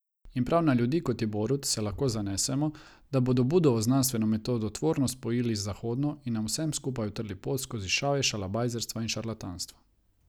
In prav na ljudi, kot je Borut, se lahko zanesemo, da bodo Budovo znanstveno metodo tvorno spojili z zahodno in nam vsem skupaj utrli pot skozi šavje šalabajzerstva in šarlatanstva.